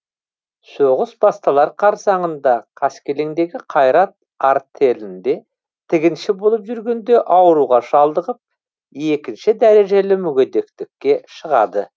соғыс басталар қарсаңында қаскелеңдегі қайрат артелінде тігінші болып жүргенде ауруға шалдығып екініш дәрежелі мүгедектікке шығады